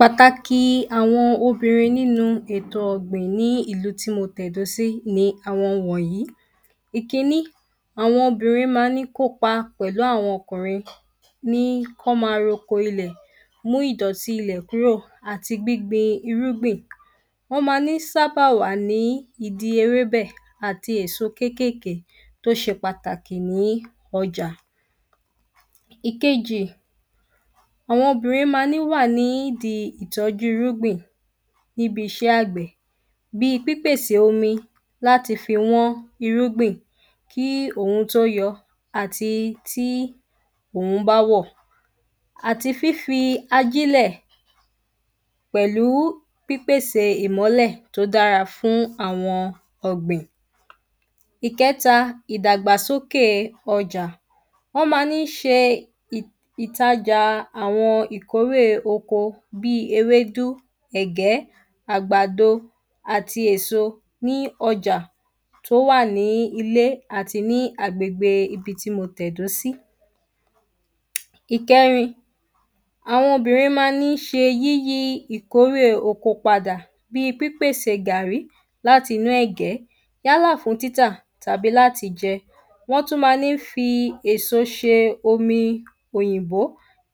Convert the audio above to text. Pàtàkì àwọn obìnrin nínú ètò ọ̀gbìn ní ìlú tí mo tẹ̀dó sí ni àwọn wọ̀nyí. Ìkíní àwọn obìnrin má ń ní kópa pẹ̀lú àwọn ọkùnrin ní wọ́n má roko ilẹ̀ mú ìdọ̀tí ilẹ̀ kúrò àti gbíngbin irúgbìn. Wọ́n ma ní sábà wà ní ìdí ewébẹ̀ àti èso kékékè tó ṣe pàtàkì ní ọjà. Ìkejì àwọn obìnrin má ní wà nídi ìtọ́jú irúgbìn níbiṣẹ́ àgbẹ̀ bí pípèsè omi láti fi wọ́n irúgbìn kí òrùn tó yọ àti tí òrùn bá wọ̀ àti fífi ajílẹ̀ pẹ̀lú pípèsè ìmọ́lẹ̀ tó dára fún àwọn ọ̀gbìn. Ìkẹ́ta ìdàgbàsókè ọjà wọ́n má ní ṣe ìtajà àwọn ìkórè oko bí ewédú ẹ̀gẹ́ àgbàdo àti èso ní ọjà tó wà ní ilé àti ní agbègbè ibi tí mo tẹ̀dó sí. Ìkẹrin àwọn obìnrin má ń ní ṣe yíyí ìkórè pada bí pípèsè gàrrí láti inú ẹ̀gẹ́ yálà fún títà tàbí láti jẹ. Wọ́n tún má ní fi èso ṣe omi òyìnbó